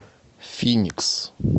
финикс